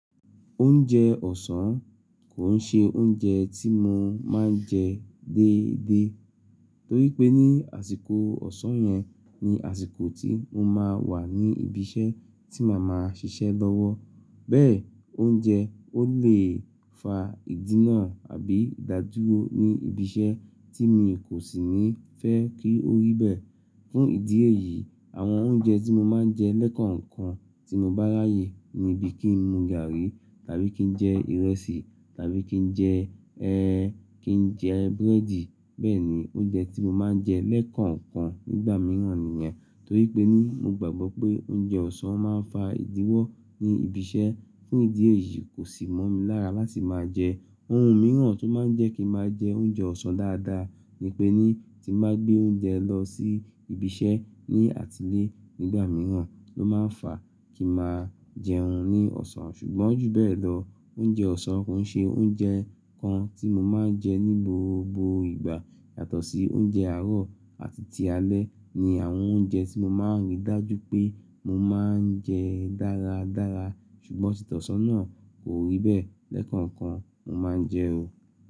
Oúnjẹ ọ̀sán kò ṣe oúnjẹ tí mo máa ń jẹ déédéé torí pé ní àsìkò ọ̀sán yẹn ni àsìkò tí mo máa ń wà ní ibi iṣẹ́ tí màá máa ṣiṣẹ́ lọ́wọ́. Bẹ́ẹ̀, oúnjẹ ó lè fa ìdínà àbí ìdádúró ní ibi iṣẹ́ tí mi kò sì ní fẹ́ kí ó rí bẹ́ẹ̀. Fún ìdí èyí, àwọn oúnjẹ tí mo máa ń jẹ lẹ́ẹ̀kọ̀ọ̀kan tí mo bá ráyè níbí kí n mu gààrí tàbí kí n jẹ ìrẹsì tàbí kí n jẹ ẹ́ẹ́, kí n jẹ búrẹ́dì. Bẹ́ẹ̀ ni oúnjẹ tí mo máa ń jẹ lẹ́ẹ̀kọ̀ọ̀kan nígbà mìíràn nìyẹn. Torí pé ní mo gbàgbọ́ pé oúnjẹ ọ̀sán máa ń fa ìdíwọ́ ní ibi iṣẹ́. Fún ìdí èyí kò sì mọ́ mi lára láti máa jẹ é. Ohun mìíràn tó máa ń jẹ́ kí n máa jẹ oúnjẹ ọ̀sán dáadáa ni pé ní tí máa gbé oúnjẹ lọ sí ibi iṣẹ́ ní àtílẹ́ nígbà mìíràn ló máa ń fa kí a máa jẹun ní ọ̀sán. Ṣùgbọ́n ju bẹ́ẹ̀ lọ, oúnjẹ ọ̀sán kò ṣe oúnjẹ kan tí mo máa ń jẹ ní gbogbo ìgbà yàtọ̀ sí oúnjẹ àárọ̀ àti ti alẹ́ ni àwọn oúnjẹ tí mo máa ń rí dájú pé mo máa ń jẹ dáradára. Ṣùgbọ́n títọ́sọ náà kò rí bẹ́ẹ̀ lẹ́ẹ̀kọ̀ọ̀kan mo máa ń jẹ o.